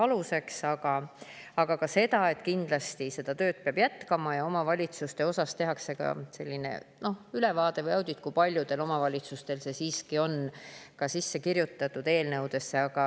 ka seda, et kindlasti peab seda tööd jätkama ja omavalitsuste kohta tehakse ülevaade või audit, kui paljudel omavalitsustel see siiski on sisse kirjutatud.